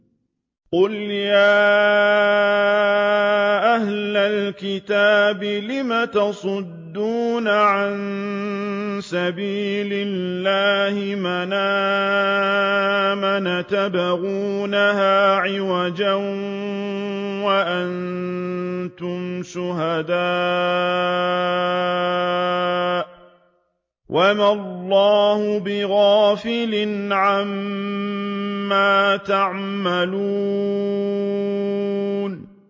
قُلْ يَا أَهْلَ الْكِتَابِ لِمَ تَصُدُّونَ عَن سَبِيلِ اللَّهِ مَنْ آمَنَ تَبْغُونَهَا عِوَجًا وَأَنتُمْ شُهَدَاءُ ۗ وَمَا اللَّهُ بِغَافِلٍ عَمَّا تَعْمَلُونَ